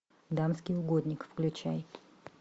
дамский угодник включай